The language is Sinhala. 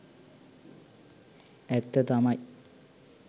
ඇත්ත තමයි.